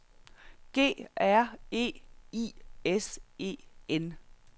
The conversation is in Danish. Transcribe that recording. G R E I S E N